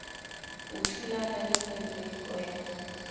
o thulana le meleko ya